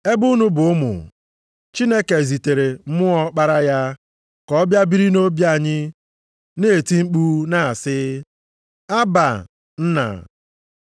Ebe unu bụ ụmụ, Chineke zitere Mmụọ Ọkpara ya, ka ọ bịa biri nʼobi anyị, na-eti mkpu na-asị, “Abba, Nna.”